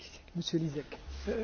Szanowna Pani Poseł!